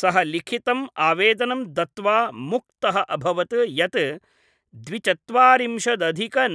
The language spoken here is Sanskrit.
सः लिखितम् आवेदनं दत्त्वा मुक्तः अभवत् यत् द्वि चत्वारिंशत्